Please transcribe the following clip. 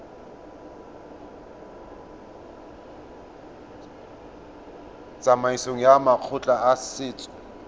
tsamaisong ya makgotla a setso